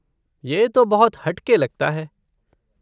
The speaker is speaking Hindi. यह तो बहुत हट के लगता है।